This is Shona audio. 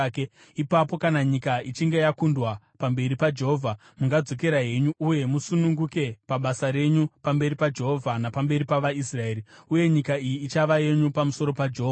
ipapo kana nyika ichinge yakundwa pamberi paJehovha, mungadzokera henyu uye musununguke pabasa renyu pamberi paJehovha napamberi pavaIsraeri. Uye nyika iyi ichava yenyu pamberi paJehovha.